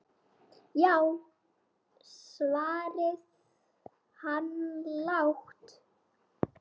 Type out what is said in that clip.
Já, svaraði hann lágt.